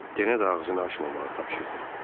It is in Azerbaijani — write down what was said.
Yenə də ağzını açmamağı tapşırdı.